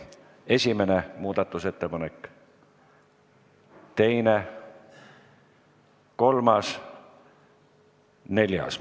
Esimene muudatusettepanek, teine, kolmas, neljas.